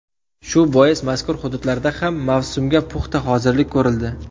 Shu bois mazkur hududlarda ham mavsumga puxta hozirlik ko‘rildi.